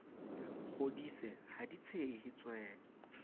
kgodise ha di tshehe tswe